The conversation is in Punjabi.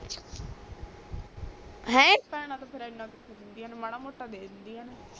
ਭੈਣੇ ਤਾ ਫੇਰ ਏਨਾ ਵੀ ਦੇਂਦੀ ਨੀ ਮਾੜਾ ਮੋਟਾ ਦੇ ਦੇਂਦੀ ਆ ਨੇ